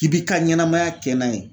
I b'i ka ɲɛnamaya kɛ n'a ye